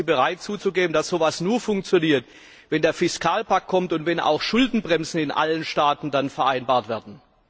Sind Sie bereit zuzugeben, dass so etwas nur funktioniert, wenn der Fiskalpakt kommt und wenn dann auch Schuldenbremsen in allen Staaten vereinbart werden?